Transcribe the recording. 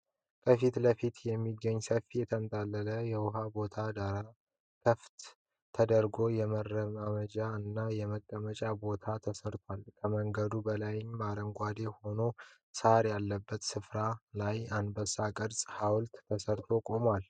ከፊት ለፊት የሚገኝ ሰፊ የተንጣለለ የዉሃ ቦታ ዳር ክፍት ተደርጎ የመራመጃ እና የመቀመጫ ቦታ ተሰርቷል። ከመንገዱ በላይም አረንጓዴ የሆነ ሳር ያለበት ስፍራ ላይ በአንበሳ ቅርጽ ሃውልት ተሰርቶ ቆሟል።